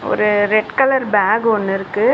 ஒரு red colour bag ஒன்னு இருக்கு.